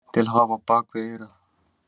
Til að hafa á bak við eyrað.